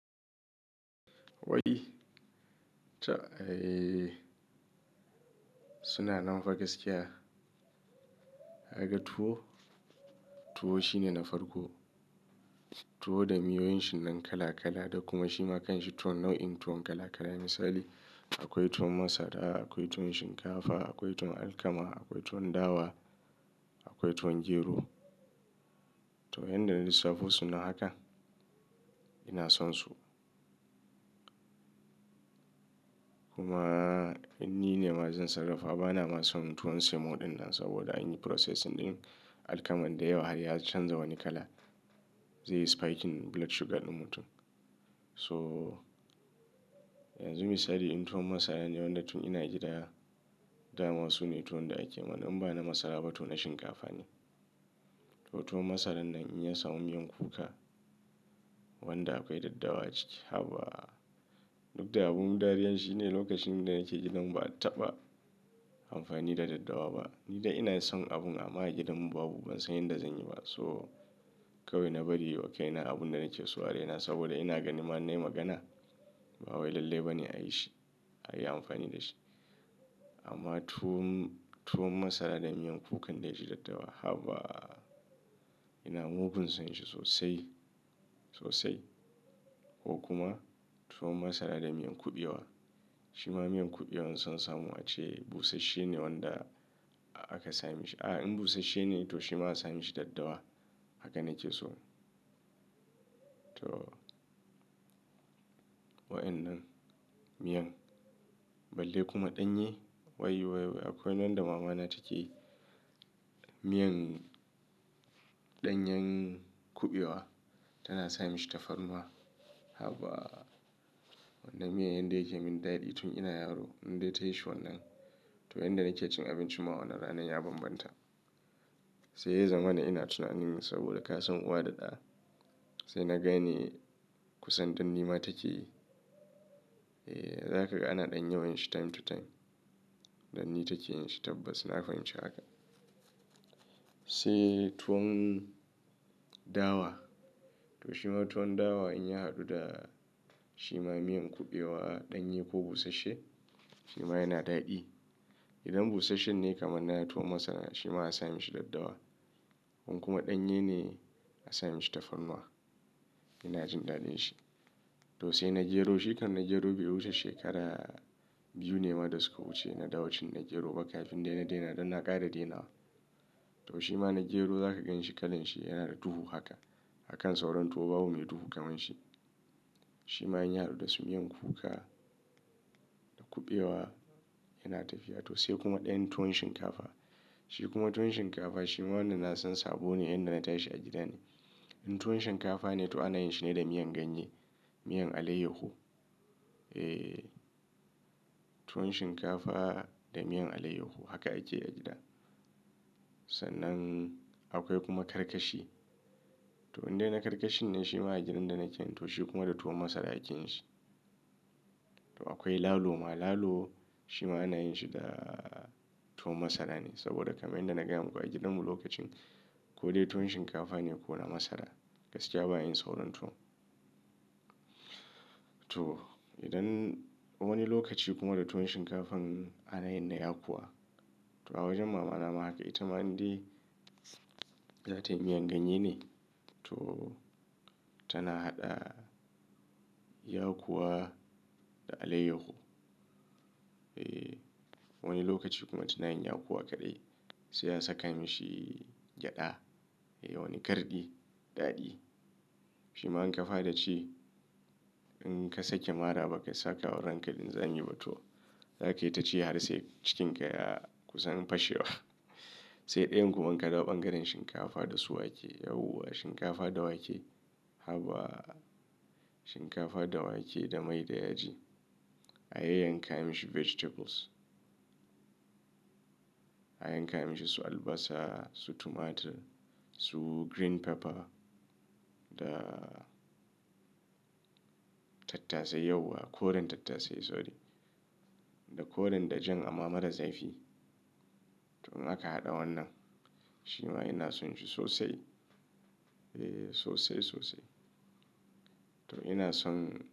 Wadi Ta ai suna nan fa gaskiya. Kaga tuwo, tuwo shine na farko. Tuwo da miyoyin shi nan kala kala. Kuma shi ma kan shi tuwo nau'in tuwon kala kala. Misali akwai tuwon masara, akwai tuwon shinkafa, akwai tuwon alkama, akwai tuwon dawa, akwai tuwon gero. To, inda na lissafo su nan haka ina son su. Kuma in ni ne majin sarrafa bana ma son tuwon semo ɗin nan saboda an yi processing ɗin alkamar da yawa har ya canza wani kala. Zai yi spiking blood sugar ɗin mutum. So yanzu misali in tuwon masara ne wanda tun ina gida, da ma su ne tuwo da ake yi. Imba na masara ba, to na shinkafa ne. To tuwon masarar nan in ya samu miyan kuka wanda akwai daddawa ciki, haba! Duk da abun dariyar shine lokacin da nake gidan ba a taɓa amfani da daddawa ba. Ni da ina son abun amma a gidanmu babu ban san yadda zan yi ba. So kawai na bari ywa kai na abun da nake so a raina saboda ina ganin ma in nai magana ba wai lallai ba ne a yi shi, a yi amfani da shi. Amma tuwon, tuwon masara da miyan kukan da ya ji daddawa haba! Ina mugun son shi sosai, sosai. Ko kuma tuwon masara da miyan kuɓewa. Shi ma miyan kuɓewan son samu ace busasshe ne wanda aka sa mi shi. A in busasshe ne to shi ma asa mishi daddawa. Haka na ke so. To, wayannan miyan balle kuma ɗanye wai wai akwai wanda mama na take yi. Miyan ɗanyan kuɓewa tana sa mishi tafarnuwa haba! Wannan miyan yanda yake mun daɗi tun ina yaro in dai ta yi shi wannan. To inda na ke cin abinci ma wanann ranan ya bambanta. Sai ya zamana ina tunanin saboda ka san uwa da ɗa. Sai na gane kusan dannima take yi. Eh, za ka ga ana ɗan yawan shi time to time. Danni take yin shi tabbas na fahimci haka. Tai tuwon dawa. To shi ma tuwon dawa in ya haɗu da shi ma miyan kuɓewa, ɗanye ko busasshe shi ma yana daɗi. Idan busasshen ne kamar na tuwon masara shi ma asa mishi daddawa. In kuma ɗanye ne asa mashi tafarnuwa. Ina jin daɗin shi. To sai na gero. Shi kan na gero bai wuce shekara biyu ne ma da suka wuce na dawo cin na gero ba kafin dai na daina don na ƙara daina wa. To shi ma na gero za ka ganshi kalan shi yana da duhu haka a kan sauran tuwo babu mai duhu kamar shi. Shi ma in ya haɗu da su miyan kuka da kuɓewa yana tafiya. To sai kuma ɗayan tuwon shinkafa. Shi kuma tuwon shinkafa shi ma wanda na san sabo ne inda na tashi a gida ne. In tuwon shinkafa ne to ana yin shi ne da miyan ganye, miyan alaiyahu. Eh, tuwon shinkafa da miyan alayyahu haka ake a gida. Sannan akwai kuma karkashi. To indai na karkashin ne shi ma a gidan da nake. To shi kuma da tuwon masara ake yin shi. To akwai lalo ma. Lalo shi ma ana yin shi da tuwon masara ne saboda kamar yadda na gaya muku a gidanmu lokacin ko dai tuwon shinkafa ne ko na masara gaskiya ba a yi sauran tuwon. To idan wani lokaci kuma da tuwon shinkafan ana yin na yakuwa. To a wajen mama na ma haka. Ita ma in dai za tai miyan ganye ne to tana haɗa yakuwa da alaiyahu. Eh, wani lokaci kuma tana yin yakuwa kaɗai sai a saka mishi gyada eh wani garɗi, daɗi. Shi ma in ka fara ci in ka sake maraba baka saka wa ranka lin zami ba to za kai ta ci har sai cikinka ya kusan fashewa. Sai ɗayan kuma in ka ɗawo ɓangaren shinkafa da su wake yauwa. Shinkafa da wake haba! Shinkafa da wake da mai da yaji. A yayyanka mishi vegetables. A yanka mishi su albasa, su tomato, su green pepper da tattasai yauwa, koren tattasai sorry. Da koren dajan amma mara zafi. To haka in aka haɗa wannan shi ma ina son shi sosai. Eh sosai, sosai. To ina son.